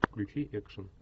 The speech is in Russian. включи экшн